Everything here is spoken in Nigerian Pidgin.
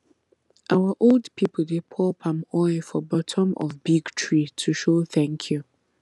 our old people dey pour palm oil for bottom of big tree to show thank you